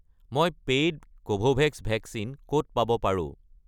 মই paid Covovax vaccine ক'ত পাব পাৰোঁ?